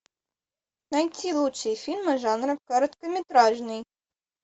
найти лучшие фильмы жанра короткометражный